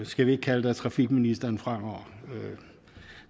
skal vi ikke kalde dig trafikministeren fremover